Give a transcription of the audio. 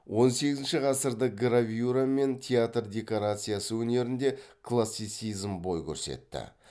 он сегізінші ғасырда гравюра мен театр декорациясы өнерінде классицизм бой көрсетті